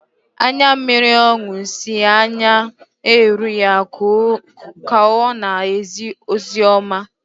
Anya mmiri ọṅụ si n’anya na-eru ya ka ọ na-ezi ozi ọma